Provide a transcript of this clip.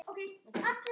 Það er allt að koma.